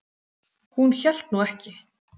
Hún hélt nú ekki.